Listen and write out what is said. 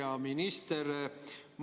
Hea minister!